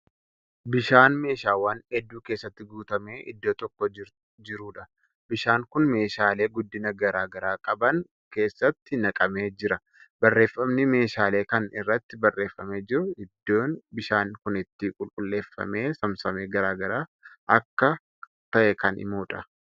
Bishaan meeshaawwan hedduu keessatti guutamee iddoo tokko jiruudha. bishaan Kun meeshaalee guddina garagaara qaban keessatti naqamee jira. barreeffamni meeshaalee Kan irratti barreeffame jiru iddoon bishaan Kuni itti qulqulleeffamee saamsamee garagaraa akka ta'e Kan himuudha.